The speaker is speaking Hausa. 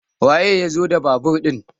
waye ya zo da babur ɗin?